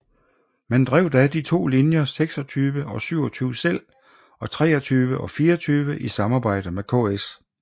Man drev da de to linjer 26 og 27 selv og 23 og 24 i samarbejde med KS